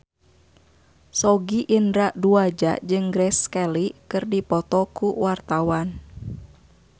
Sogi Indra Duaja jeung Grace Kelly keur dipoto ku wartawan